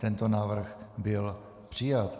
Tento návrh byl přijat.